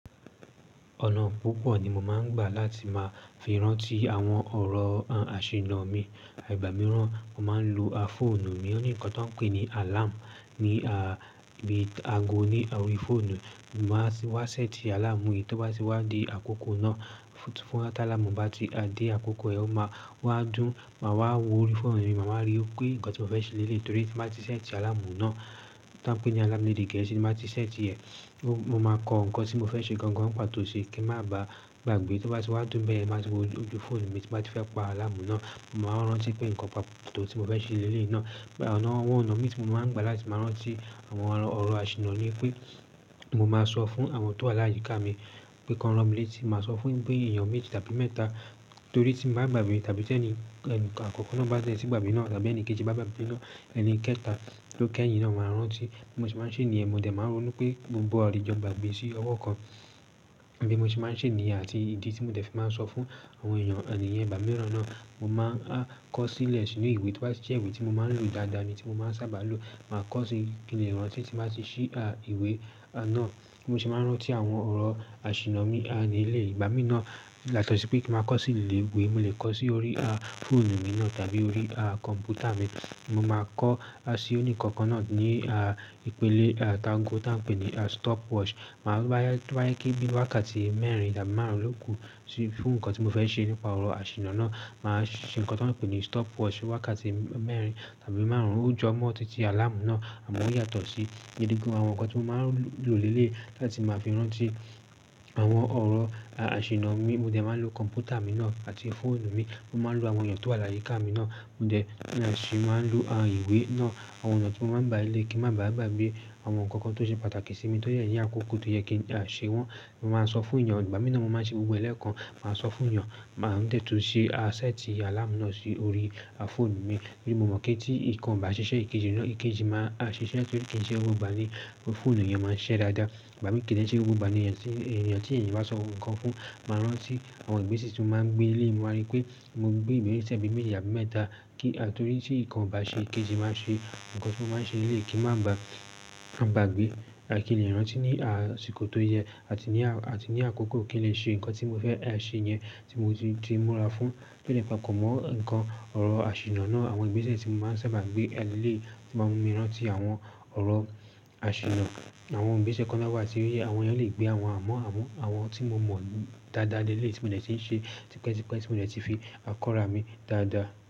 Ọ̀nà púpọ̀ ni mo máa ń gbà láti máa fi rántí àwọn ọ̀rọ̀ àṣìnnà mi. Ìgbà mìíràn mo máa ń lo a phone mi ní ohun kan tó ń pè ní alarm ní, à, bí i ago ní orí phone. Mo máa ti wá sẹ́tì alarm yìí tó bá ti wá di àkókò náà. Fún, fún tá alarm bá ti dé àkókò ẹ, ó máa wá dùn, màá wá wo orí phone mi, màá wá rí pé nǹkan tí mo fẹ́ ṣe lélè torí tí mo bá ti sẹ́tì alarm náà tó ń pè ní alarm lédè gẹ̀ẹ́sì, tí mo bá ti sẹ́tì ẹ̀, mo máa kọ nǹkan tí mo fẹ́ ṣe gangan pàtó sí kí ń má ba gbagbe. Tó bá ti wá dùn bẹ́ẹ̀ yẹn, màá ti wo ojú phone mi, tí mo bá ti fẹ́ pa alarm náà, màá rántí pé nǹkan pàtó tí mo fẹ́ ṣe lélè yí náà. Àwọn ọ̀nà mìí, tí mo máa ń gbà láti máa rántí àwọn ọ̀rọ̀ àṣìnnà ni pé mo máa sọ fún àwọn tó wà láyíká mi pé kan rán mi létí, máa sọ fún bí èèyàn méjì tàbí mẹ́ta torí tí mo bá gbagbe tàbí tí ẹni, ẹni àkọ́kọ́ náà bá dé ti gbagbe náà tàbí ẹni kejì bá gbagbe náà, ẹni kẹta ló kẹ́yìn náà máa rántí. Bí mo ṣe máa ń ṣe ní yẹn, mo dẹ̀ máa ń rónú pé gbogbo wa ò lè jọ gbagbe sí ọwọ́ kan. Bí mo ṣe máa ń ṣe ní yẹn àti ìdí tí mo dẹ̀ ti máa ń sọ fún àwọn èèyàn, ẹnì yẹn, ìgbà mìíràn náà, mo máa kọ sílẹ̀ sínú ìwé tó bá ti jẹ́ ìwé tí mo máa ń lò dáadáa ni tí mo máa ń sábà lò. Màá kọ sí kín lè rántí, tí n bá ti ṣí, à, ìwé à náà. Mo sì máa ń rántí àwọn ọ̀rọ̀ àṣìnnà mi, à, ní eléyí ìgbà mìí náà yàtọ̀ sí pé kí mo máa kọ sí ìwé, mo lè kọ sí orí, à, phone mi náà tàbí orí, à, kọ̀m̀pútà mi. Mo máa kọ a sí, oní ǹkan kan náà ní, à, ìpele, à, tí ago tá n pè ní, à, stopwatch. Tóbá jẹ́ pé bí wákàtí mẹ́rin tàbí márùn-ún lóòkú fún nǹkan sí fún ǹkan tí mo fẹ́ ṣe nípa ọ̀rọ̀ àṣìnnà náà. Màá ṣe nǹkan tó ń pè ní stopwatch wákàtí mẹ́rin tàbí márùn-ún, ó jọ mọ́ títí alarm náà àmọ́ ó yàtọ̀ sí. Gidi gan, àwọn nǹkan tí mo máa ń lò lélè yìí láti máa fi rántí àwọn ọ̀rọ̀, à, àṣìnnà mi, mo dẹ̀ máa ń lo kọ̀m̀pútà mi náà àti phone mi. Mo máa ń lo àwọn èèyàn tó wà láyíká mi náà. Mo dẹ̀ sì máa ń lo, à, ìwé náà. Àwọn ọ̀nà tí mo máa ń gbà lélè yí, kí n má ba gbagbe àwọn nǹkan kan tó ṣe pàtàkì sí mi tó jẹ ní àkókò tó yẹ kí n ṣe wọ́n. Mo máa sọ fún èèyàn ìgbà mìí náà, mo máa ń ṣe gbogbo lélan màá sọ fún yàn, màá dẹ̀ tún ṣe, à, sẹ́tì alarm náà sí orí, à, phone mi. Torí mo mọ̀ pé tí nǹkan bá ṣiṣẹ́ ìkejì náà, ìkejì máa ṣiṣẹ́ kí ìkejì ṣe ó gbógbà ni phone ìyẹn máa ṣiṣẹ́ dáadáa. Ìgbà mì kíni ṣe ó gbógbà ni èèyàn tí, èèyàn tí èèyàn bá sọ nǹkan fún, màá rántí. Àwọn ìgbésẹ̀ tí mo máa ń gbé lélè yìí mo máa rí i pé mo gbé ìgbésẹ̀ bí méjì tàbí mẹ́ta kí, torí tí nǹkan ò bá ṣe, ìkejì máa ṣe. Ǹǹkan tí mo máa ń ṣe lélè yìí kí ń má ba, gbagbe. Kín lè rántí ní, à, ìsìkọ́ tó yẹ àti ní, à, àti ní àkókò kí n lè ṣe nǹkan tí mo fẹ́ ṣe yẹn tí mo ti, ti mú rà fún. Kí ni ìfàkọ̀mọ́ nǹkan ọ̀rọ̀ àṣìnnà náà. Àwọn ìgbésẹ̀ tí mo máa ń sábà gbé lélè tí màá ń rántí àwọn ọ̀rọ̀ àṣìnnà. Àwọn ìgbésẹ̀ kan náà wà tí ó yẹ, àwọn èèyàn lè gbé àwọn, àmọ́ àmọ́, àwọn tí mo mọ̀ dáadá lélè yìí tí mo dè tí n ṣe tipẹ́ tipẹ́, tí mo dè fi kọ́ ra mi dáadá.